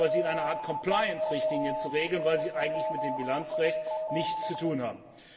Aber sie wären eher in einer Art Compliance Richtlinie zu regeln, weil sie eigentlich mit dem Bilanzrecht nichts zu tun haben.